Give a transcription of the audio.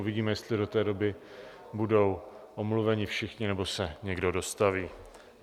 Uvidíme, jestli do té doby budou omluveni všichni, nebo se někdo dostaví.